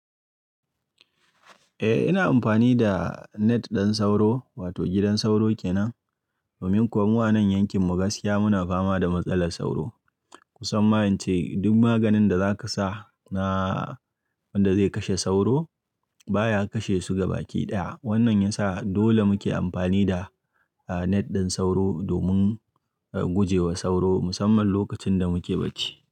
Eh ina amfani da net ɗin sauro wato gidan sauro kenan. Domin kuwa mu a nan yankin muna gaskiya muna fama da matsalar sauro. Kusan ma ince duk maganin da zaka sa na wanda zai kashe sauro baya kashe su gaba ɗaya. Wannan ya sa dole muke amfani da net ɗin sauro domin guje wa sauro musamman lokacin da muke bacci.